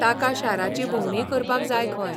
ताका शाराची भोंवडीय करपाक जाय खंय.